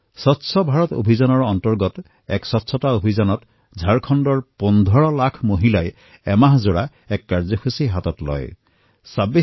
স্বচ্ছ ভাৰত অভিযানৰ অন্তৰ্গত ঝাৰখণ্ডত প্ৰায় ১৫ লাখ মহিলাইএই সংখ্যা কম নহয় ১৫ লাখ মহিলাই সংগঠিত হৈ এটা মাহত স্বচ্ছতা অভিযান পালন কৰিলে